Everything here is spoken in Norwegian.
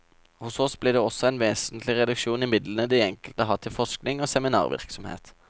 Hos oss blir det også en vesentlig reduksjon i midlene de enkelte har til forskning og seminarvirksomhet.